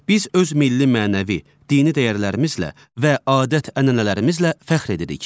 Biz öz milli mənəvi, dini dəyərlərimizlə və adət-ənənələrimizlə fəxr edirik.